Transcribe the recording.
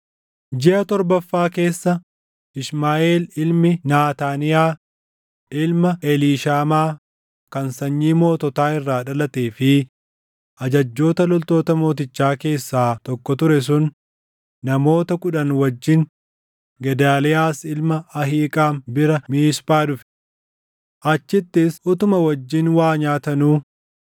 Jiʼa torbaffaa keessa Ishmaaʼeel ilmi Naataaniyaa, ilma Eliishaamaa kan sanyii moototaa irraa dhalatee fi ajajjoota loltoota mootichaa keessaa tokko ture sun namoota kudhan wajjin Gedaaliyaas ilma Ahiiqaam bira Miisphaa dhufe. Achittis utuma wajjin waa nyaatanuu